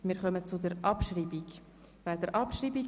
Wir kommen zur Abstimmung über Traktandum 16.